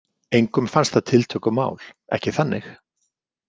Engum fannst það tiltökumál, ekki þannig.